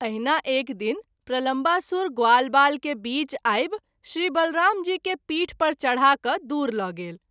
एहिना एक दिन प्रलम्बासुर ग्वालवाल के बीच आबि श्री बलराम जी के पीठ पर चढा कय दूर ल’ गेल।